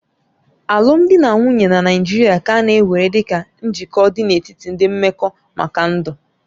Alụmdi na nwunye na Naịjirịa ka a na-ewere dịka njikọ dị n'etiti ndị mmekọ maka ndụ.